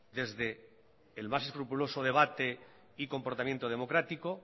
desde el más escrupuloso debate y comportamiento democrático